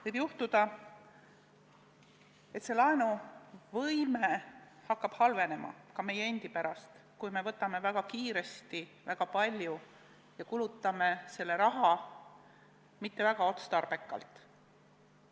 Võib juhtuda, et riigi laenuvõime hakkab halvenema ka meie endi pärast, kui me laename väga kiiresti väga palju ja kulutame selle raha mitte väga otstarbekalt.